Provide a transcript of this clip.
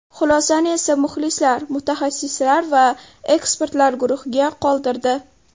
Xulosani esa muxlislar, mutaxassislar va ekspertlar guruhiga qoldirdi.